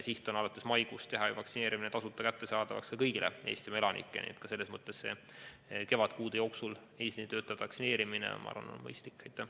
Siht on teha alates maikuust vaktsineerimine tasuta kättesaadavaks kõigile Eestimaa elanikele, nii et selles mõttes on kevadkuude jooksul eesliinitöötajate vaktsineerimine on mõistlik.